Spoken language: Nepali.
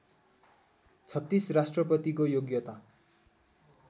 ३६ राष्ट्रपतिको योग्यता